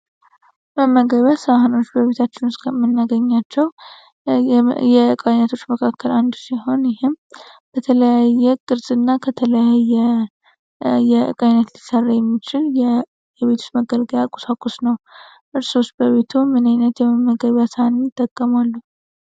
መመገበያኖች በቤታችን ውስጥ ከምናገኛቸው እቃዎች መካከል አንዱ ሲሆን ይህም በተለያየ ቅርጽና ከተለያየ የዕቃ አይነት ሊሰራ የሚችል የቤት ውስጥ መገልገያ ቁስ ነው እርሶስ በምን አይነት ዕቃ ዎች ይጠቀማሉ?